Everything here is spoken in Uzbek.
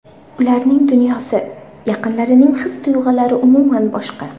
Ularning dunyosi, yaqinlarining his-tuyg‘ulari umuman boshqa.